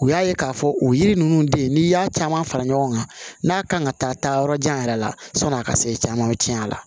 U y'a ye k'a fɔ o yiri ninnu de n'i y'a caman fara ɲɔgɔn kan n'a kan ka taa yɔrɔ jan yɛrɛ la sɔni a ka se caman tiɲɛ a la